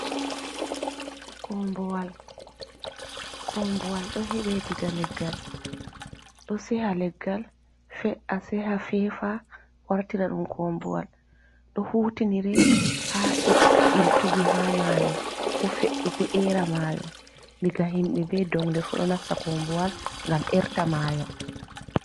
Kombuwal: Kombuwal ɗo heɓe diga leggal ɗo seha leggal, fe'a lora fefa wartira ɗum kombuwal. Ɗo hutinire ha iltugi ha mayo ko era mayo. Diga himɓe be dogle fu ɗo nasta kombuwal ngam erta mayo.